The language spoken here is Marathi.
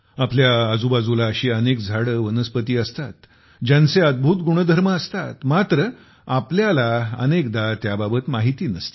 आपल्या आजूबाजूला अशी अनेक झाडे वनस्पती असतात ज्यांचे अद्भुत गुणधर्म असतात मात्र आपल्याला अनेकदा त्याबाबत माहिती नसते